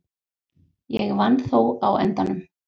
Ég vann þó á endanum.